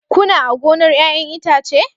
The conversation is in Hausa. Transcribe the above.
Kuna a gonar 'ya'yan itace?